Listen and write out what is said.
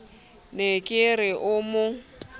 ne ke re o mo